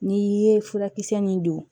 N'i ye furakisɛ min don